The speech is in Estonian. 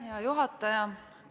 Hea juhataja!